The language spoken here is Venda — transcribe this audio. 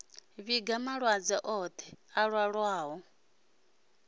vhiga malwadze oṱhe a ṱahaho